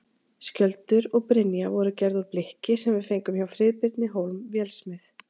Skjöldur og brynja voru gerð úr blikki sem við fengum hjá Friðbirni Hólm vélsmið.